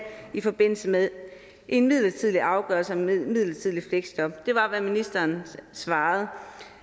i forbindelse med en midlertidig afgørelse om midlertidigt fleksjob det var hvad ministeren svarede